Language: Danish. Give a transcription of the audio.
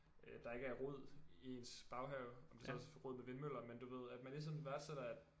Øh der ikke er rod i ens baghave om det så også er rod med vindmøller men du ved at man ligesom værdsætter at